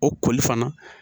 O koli fana